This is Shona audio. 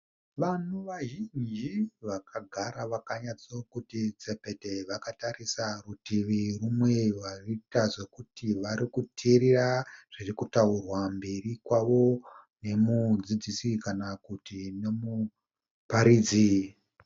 Vanhu vazhinji Vakagara vakanyatsa kuti tsepete, vakatarisa rutivi, kune varikuita sokuti varikuteerera zviri kutakurwa mberi kwavo nemudzidziisi kana kuti nomuparidzi.